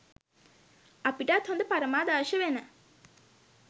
අපිටත් හොඳ පරමාදර්ශ වෙන